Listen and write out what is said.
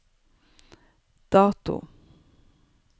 dato